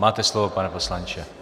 Máte slovo, pane poslanče.